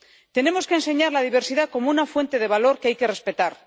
Tenemos que enseñar la diversidad como una fuente de valor que hay que respetar.